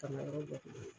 Ka na yɔrɔ dɔ ko